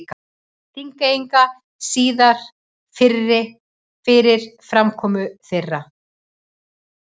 Þingeyinga síðar fyrir framkomu þeirra.